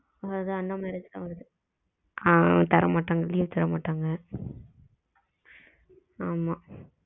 அதன் அந்த மாதிரி தான் வருது ஆ தர மாட்டாங்க லீவ் தர மாட்டாங்க ஆமா